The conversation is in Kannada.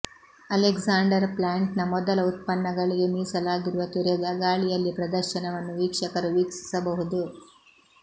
ಅಲೆಕ್ಸಾಂಡರ್ ಪ್ಲಾಂಟ್ನ ಮೊದಲ ಉತ್ಪನ್ನಗಳಿಗೆ ಮೀಸಲಾಗಿರುವ ತೆರೆದ ಗಾಳಿಯಲ್ಲಿ ಪ್ರದರ್ಶನವನ್ನು ವೀಕ್ಷಕರು ವೀಕ್ಷಿಸಬಹುದು